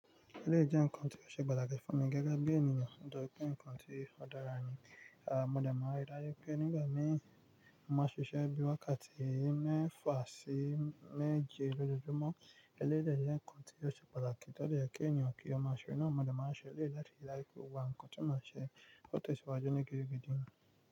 Eléyìí jẹ́ ǹkan tí ó ṣe pàtàkì fún mi gẹ́gẹ́ bí ènìyàn, nitóri pé ǹkan tí ó dára ni. Aà, mo dẹ̀ máa rí dájú pé nígbà mìíràn, mo máa ṣiṣẹ́ bí i wákàtí mẹ́fà sí méje lójoojúmọ́. Eléyìí dẹ jẹ́ ǹkan tí ó ṣe pàtàkì ti ó dẹ yẹ kí ènìyàn kí ó máa ṣe naa, mo dẹ̀ máa ṣe eléyìí láti rí dájú pé gbogbo awọn ǹkan tí mo ṣe o tẹ̀ ṣíwáájú ní gidi gidi.